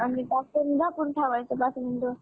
आणि टाकून झाकून ठेवायचं पाच minute